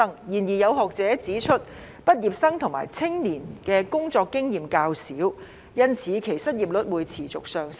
然而，有學者指出，畢業生及青年的工作經驗較少，因此其失業率會持續上升。